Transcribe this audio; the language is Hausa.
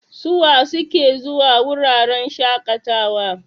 Suwa suke zuwa wuraren shaƙatawa?